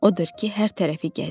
Odur ki, hər tərəfi gəzir.